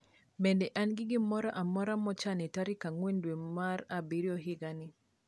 bende an gi gimoro amoro mochan e tarik angwen dwe mar abirio higa ni